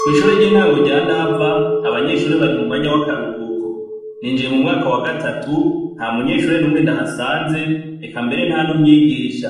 Kw'ishure ry'intango rya ndava, abanyeshure bari mu mwanya w'akaruhuko. Ninjiye mu mwaka wa gatatu, nta munyeshure n'umwe ndahasanze eka mbere nta n'umwigisha.